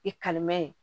I kalimɛ